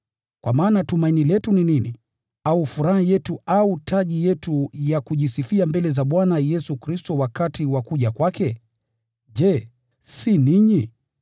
Kwa maana tumaini letu ni nini, au furaha yetu au taji yetu ya kujisifia mbele za Bwana Yesu Kristo wakati wa kuja kwake? Je, si ni ninyi?